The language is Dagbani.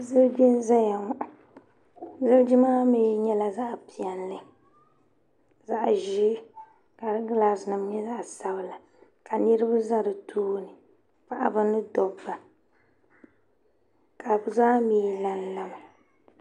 Ziliji n-zaya ŋɔ ziliji maa mi nyɛla zaɣ'piɛlli zaɣ'ʒee ka di gilaasinima nyɛ zaɣ'sabila ka niriba za di tooni paɣiba ni dobba ka bɛ zaa mi lanla mi.